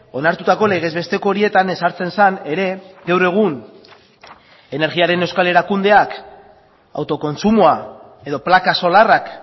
onartutako legez besteko horietan ezartzen zen ere gaur egun energiaren euskal erakundeak autokontsumoa edo plaka solarrak